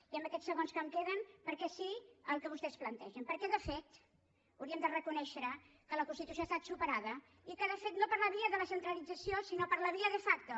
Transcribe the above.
i en aquests segons que em queden per què sí al que vostès plantegen perquè de fet hauríem de reconèixer que la constitució ha estat superada i no per la via de la centralització sinó per la via de facto